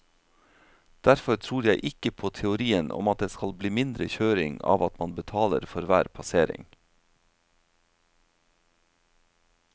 Derfor tror jeg ikke på teorien om at det skal bli mindre kjøring av at man betaler for hver passering.